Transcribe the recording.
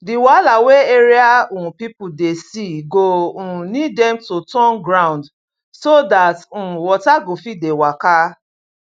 the wahala wey area um people dey see go um need dem to turn ground so that um water go fit dey waka